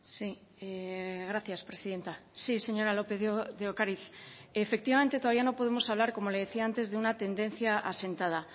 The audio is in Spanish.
sí gracias presidenta sí señora lópez de ocariz efectivamente todavía no podemos hablar como le decía antes de una tendencia asentada